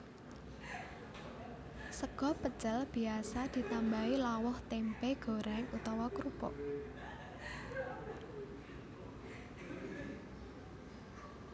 Sega pecel biasa ditambahi lawuh tèmpé gorèng utawa krupuk